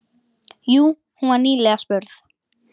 Jú, hún var nýlega spurð.